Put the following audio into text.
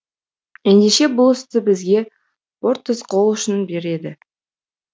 ендеше бұл істе бізге портос қол ұшын береді